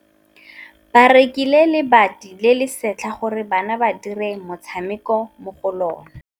Ba rekile lebati le le setlha gore bana ba dire motshameko mo go lona.